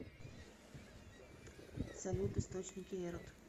салют источники эрот